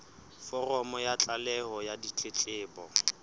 foromo ya tlaleho ya ditletlebo